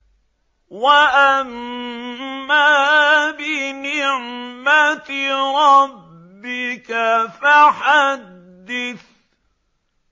وَأَمَّا بِنِعْمَةِ رَبِّكَ فَحَدِّثْ